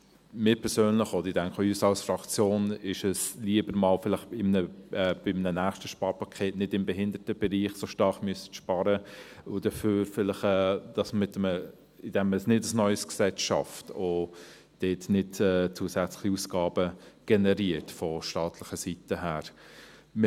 Mir persönlich, und ich denke, auch meiner Fraktion, ist es lieber, vielleicht einmal bei einem nächsten Sparpaket nicht im Behindertenbereich so stark sparen zu müssen, und dafür kein neues Gesetz zu schaffen und keine zusätzlichen Ausgaben von staatlicher Seite zu generieren.